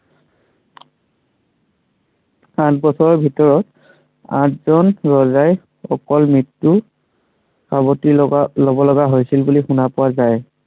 পাঁচ বছৰৰ ভিতৰত, আঠজন ৰজাই অকল মৃত্য়ুক সাৱটি লৱ লগা হৈছিল বুলি শুনা পোৱা যায়।